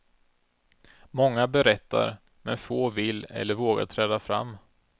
Många berättar men få vill eller vågar träda fram.